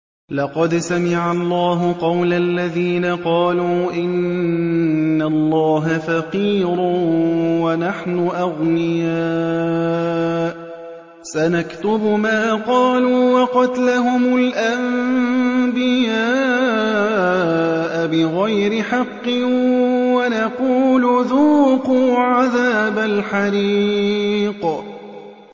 لَّقَدْ سَمِعَ اللَّهُ قَوْلَ الَّذِينَ قَالُوا إِنَّ اللَّهَ فَقِيرٌ وَنَحْنُ أَغْنِيَاءُ ۘ سَنَكْتُبُ مَا قَالُوا وَقَتْلَهُمُ الْأَنبِيَاءَ بِغَيْرِ حَقٍّ وَنَقُولُ ذُوقُوا عَذَابَ الْحَرِيقِ